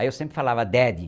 Aí eu sempre falava Daddy.